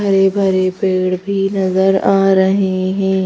हरे भरे पेड़ भी नजर आ रहे हैं।